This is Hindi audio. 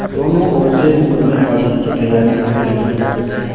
दोनों ओर से मुकदमेबाजी की तैयारियॉँ होने लगीं